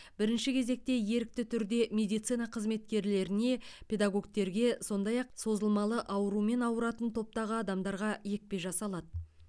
бірінші кезекте ерікті түрде медицина қызметкерлеріне педагогтерге сондай ақ созылмалы аурумен ауыратын топтағы адамдарға екпе жасалады